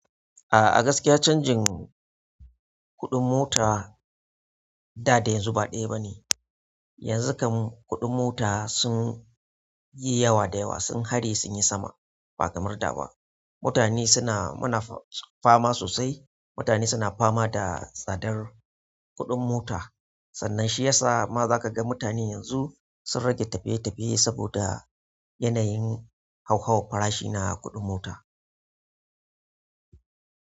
A'a gaskiya canjin kuɗin mota da da yanzu ba ɗaya bane. Yanzu kam kuɗin mota sun yi yawa da yawa, sun hare sun yi sama ba kamar da ba. Mutane suna, muna fama sosai. Mutane suna fama da tsadar kuɗin mota. Sannan shi yasa ma za ka ga mutane yanzu sun rage tafiye-tafiye saboda yanayin hau-hauwan farashina na kuɗin mota.